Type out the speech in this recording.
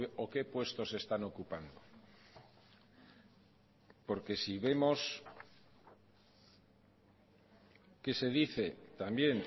o qué puestos están ocupando porque si vemos que se dice también